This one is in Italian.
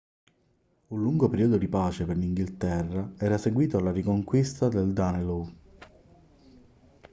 un lungo periodo di pace per l'inghilterra era seguito alla riconquista del danelaw